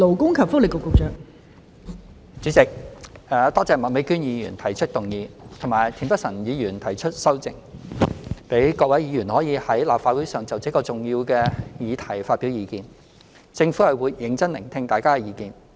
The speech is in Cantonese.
代理主席，多謝麥美娟議員提出這項議案及田北辰議員提出修正案，讓各位議員可在立法會會議上就這個重要議題發表意見，政府會認真聆聽大家的意見。